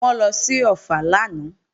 Wọ́n lọ sí Ọ̀ffà lánàá